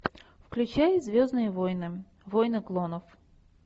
включай звездные войны войны клонов